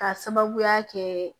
K'a sababuya kɛ